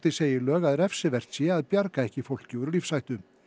segi lög að refsivert sé að bjarga ekki fólki úr lífshættu